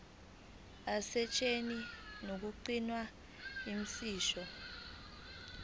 asetshenziswa ngokugculisayo imisho